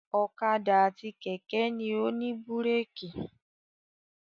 Ọ̀kadà àti kẹ̀kẹ́ ni ó ní búrékì.